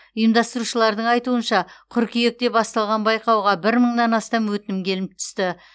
ұйымдастырушылардың айтуынша қыркүйекте басталған байқауға бір мыңнан астам өтінім келіп түсті